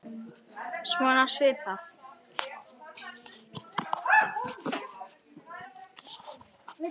Afar fáar.